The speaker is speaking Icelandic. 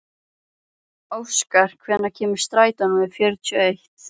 Óskar, hvenær kemur strætó númer fjörutíu og eitt?